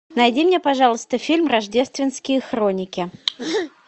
найди мне пожалуйста фильм рождественские хроники